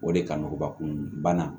O de kaɲi bakun bana